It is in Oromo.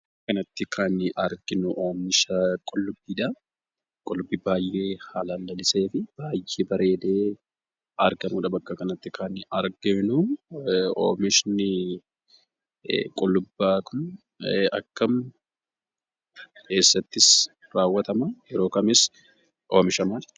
Suuraa kanarratti, kan nuyi arginu Oomisha qullubiidha. qullubbii baay'ee haalan laliseetii, baay'ee bareede argamudha, bakka kanatti kan arginu. Oomishni qullubbii kun, akkamitti?,eessattis rawwatama?,yeroo kamis Oomishama?